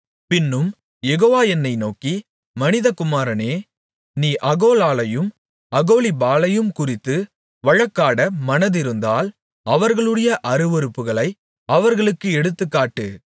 பின்னும் யெகோவா என்னை நோக்கி மனிதகுமாரனே நீ அகோலாளையும் அகோலிபாளையும் குறித்து வழக்காட மனதிருந்தால் அவர்களுடைய அருவருப்புகளை அவர்களுக்குத் எடுத்துக்காட்டு